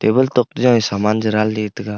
wall tok to kau saman cha danley taga.